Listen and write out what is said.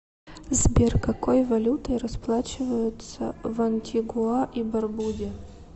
сбер какой валютой расплачиваются в антигуа и барбуде